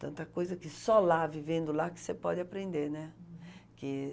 Tanta coisa que só lá, vivendo lá, você pode aprender, né. Uhum, que